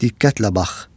Diqqətlə bax.